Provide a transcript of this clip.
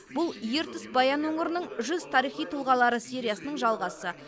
бұл ертіс баян өңірінің жүз тарихи тұлғалары сериясының жалғасы